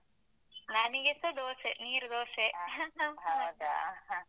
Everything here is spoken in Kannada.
ನನಿಗೆಸ ದೋಸೆ, ನೀರು ದೋಸೆ.